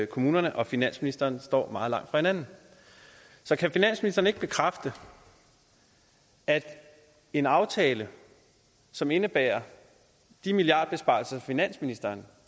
kommunerne og finansministeren står meget langt fra hinanden så kan finansministeren ikke bekræfte at en aftale som indebærer de milliardbesparelser som finansministeren